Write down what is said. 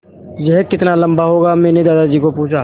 यह कितना लम्बा होगा मैने दादाजी को पूछा